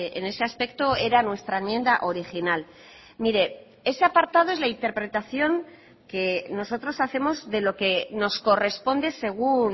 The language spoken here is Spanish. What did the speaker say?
en ese aspecto era nuestra enmienda original mire ese apartado es la interpretación que nosotros hacemos de lo que nos corresponde según